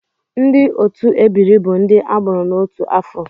Ndị otu ebiri bụ ndị a mụrụ n'otu afọ